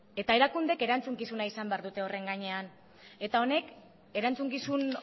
eta erakundeek erantzukizuna izan behar dute horren gainean eta honek erantzukizun